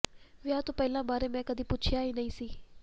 ਵਿਆਹ ਤੋਂ ਪਹਿਲਾਂ ਬਾਰੇ ਮੈਂ ਕਦੀ ਪੁੱਛਿਆ ਨਹੀਂ ਸੀ